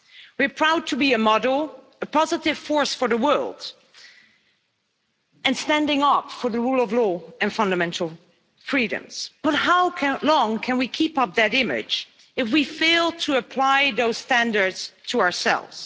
We are proud to be a model, a positive force for the world and standing up for the rule of law and fundamental freedoms. But how long can we keep up that image if we fail to apply those standards to ourselves?